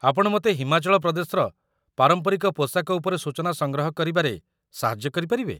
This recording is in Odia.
ଆପଣ ମୋତେ ହିମାଚଳ ପ୍ରଦେଶର ପାରମ୍ପରିକ ପୋଷାକ ଉପରେ ସୂଚନା ସଂଗ୍ରହ କରିବାରେ ସାହାଯ୍ୟ କରିପାରିବେ?